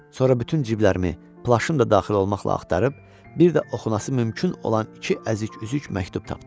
Sonra bütün ciblərimi, plaşım da daxil olmaqla axtarıb, bir də oxunası mümkün olan iki əzik-üzük məktub tapdım.